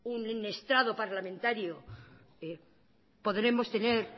un estrado parlamentario podremos tener